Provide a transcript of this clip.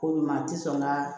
Ko ɲuman tɛ sɔn ka